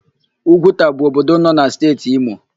Ugwuta bụ obodo nọ na Steeti Imo.